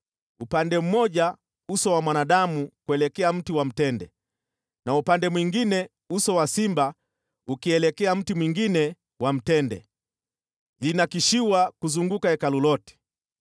upande mmoja uso wa mwanadamu kuelekea mti wa mtende na upande mwingine uso wa simba ukielekea mti mwingine wa mtende. Ilinakshiwa kuzunguka Hekalu lote.